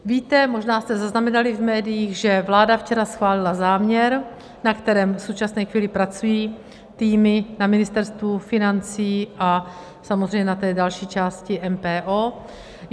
Víte, možná jste zaznamenali v médiích, že vláda včera schválila záměr, na kterém v současné chvíli pracují týmy na Ministerstvu financí a samozřejmě na té další části MPO.